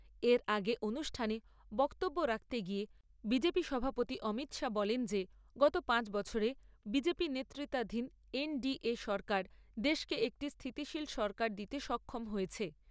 এর আগে অনুষ্ঠানে বক্তব্য রাখতে গিয়ে বি জে পি সভাপতি অমিত শাহ বলেন যে গত পাঁচ বছরে বি জে পি নেতৃত্বাধীন এন ডি এ সরকার দেশকে একটি স্থিতিশীল সরকার দিতে সক্ষম হয়েছে।